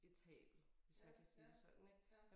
Irritabel hvis man kan sige det sådan ik